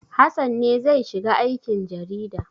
Hassan ne zai shiga aikin jarida.